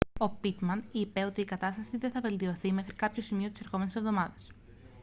ο πίτμαν είπε ότι η κατάσταση δεν θα βελτιωθεί μέχρι κάποιο σημείο της ερχόμενης εβδομάδας